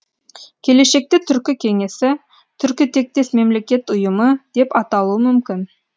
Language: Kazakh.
келешекте түркі кеңесі түркітектес мемлекеттер ұйымы деп аталуы мүмкін